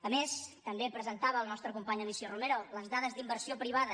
a més també presentava la nostra companya alícia romero les dades d’inversió privada